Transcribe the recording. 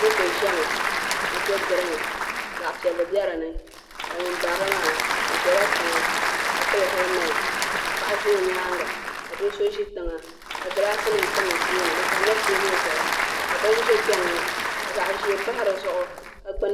Motɔ ʒami mɔtɔ green ka zaɣipiɛli be dinika ŋun barilim maa ɔ ʒala tiŋa ka pili heal ment ka paɣa ʒa ɔnyaaŋa ka doso ʒi tiŋa . ka glasinim tam ɔ tooni di tamla tee buli zuɣu ka bini ʒɛ kpen ŋɔ ka zaɣi ʒee pahi di zuɣu.